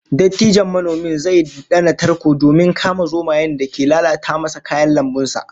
Dattijon manomin zai dana tarko domin kama zomayen da ke lalata masa kayan lambun sa